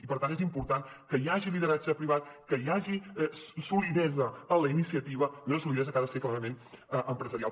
i per tant és important que hi hagi lideratge privat que hi hagi solidesa en la iniciativa i una solidesa que ha de ser clarament empresarial